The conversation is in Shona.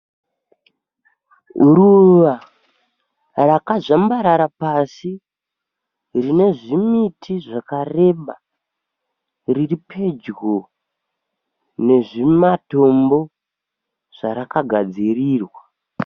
Ruva rakazvambarara pasí rine zvimiti zvakareba riri pedyo nezvimatombo zvarakagadzirirwa.